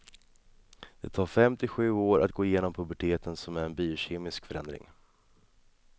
Det tar fem till sju år att gå igenom puberteten som är en biokemisk förändring.